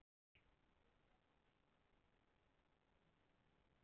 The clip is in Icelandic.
Hann byrjaði í doktorsnámi en hætti þar sem honum leiddist það.